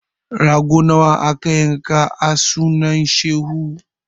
Rago nawa aka yanka a sunan shehu?